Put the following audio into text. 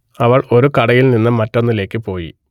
അവൾ ഒരു കടയിൽ നിന്ന് മറ്റൊന്നിലേക്ക് പോയി